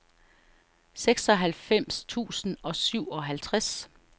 seksoghalvfems tusind og syvoghalvtreds